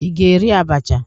Ị ga-eri abacha?